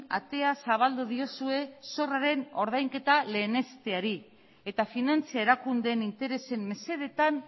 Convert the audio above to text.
atea zabaldu diozue zorraren ordainketa lehenesteari eta finantza erakundeen interesen mesedetan